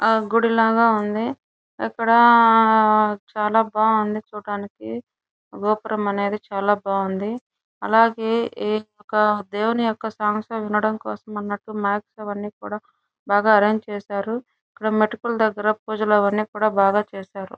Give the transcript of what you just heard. ఆ గుడి లాగా ఉంది ఇక్కడ ఆ చాలా బావుంది చూట్టానికి గోపురం అనేది చాలా బావుంది అలాగే ఇ ఒక దేవుని యొక సమస్త వినడానికోసమనట్టు మాట్స్ అవని కూడా బాగా అర్రెంజ్ చేసారు ఇక్కడ మెటికుల దగ్గర పూజలు అవన్నీ కుడా బాగా చేసారు.